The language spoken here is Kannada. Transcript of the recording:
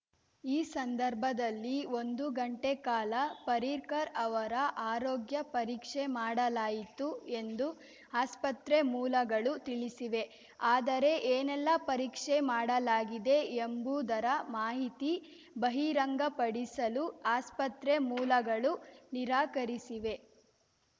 ಈ ಸಂದರ್ಭದಲ್ಲಿ ಒಂದು ಗಂಟೆ ಕಾಲ ಪರ್ರಿಕರ್‌ ಅವರ ಆರೋಗ್ಯ ಪರೀಕ್ಷೆ ಮಾಡಲಾಯಿತು ಎಂದು ಆಸ್ಪತ್ರೆ ಮೂಲಗಳು ತಿಳಿಸಿವೆ ಆದರೆ ಏನೆಲ್ಲ ಪರೀಕ್ಷೆ ಮಾಡಲಾಗಿದೆ ಎಂಬುದರ ಮಾಹಿತಿ ಬಹಿರಂಗಪಡಿಸಲು ಆಸ್ಪತ್ರೆ ಮೂಲಗಳು ನಿರಾಕರಿಸಿವೆ